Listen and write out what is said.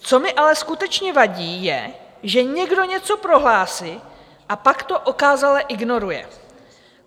Co mi ale skutečně vadí, je, že někdo něco prohlásí a pak to okázale ignoruje.